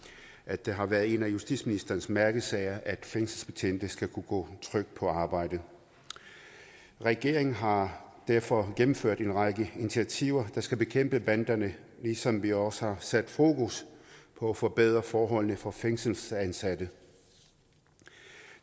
at det har været en af justitsministerens mærkesager at fængselsbetjente skal kunne gå trygt på arbejde regeringen har derfor gennemført en række initiativer der skal bekæmpe banderne ligesom vi også har sat fokus på at forbedre forholdene for fængselsansatte